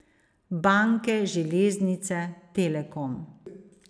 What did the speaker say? Banke, železnice, Telekom.